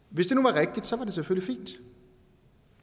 tak som og det selvfølgelig fint